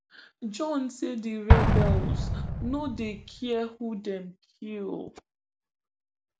john say di rebels no dey care who dem kill